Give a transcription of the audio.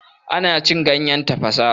Ana cin ganyen tafasa.